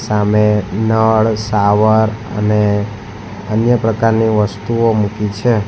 સામે નળ સાવર અને અન્ય પ્રકારની વસ્તુઓ મૂકી છે.